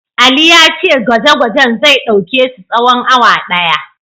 Ali ya ce gwaje-gwajen zai ɗauke su tsawon awa ɗaya.